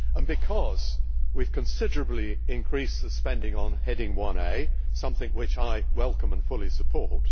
because we have considerably increased the spending on Heading 1A something which I welcome and fully support